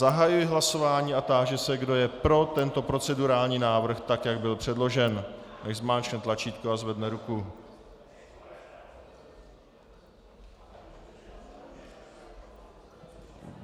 Zahajuji hlasování a táži se, kdo je pro tento procedurální návrh tak, jak byl předložen, nechť zmáčkne tlačítko a zvedne ruku.